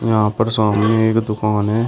यहां पर सामने एक दुकान है।